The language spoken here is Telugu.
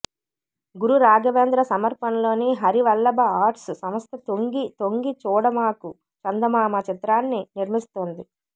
గురు రాఘవేంద్ర సమర్పణలో హరి వల్లభ ఆర్ట్స్ సంస్థ తొంగి తొంగి చూడమాకు చందమామ చిత్రాన్ని నిర్మిస్తోంది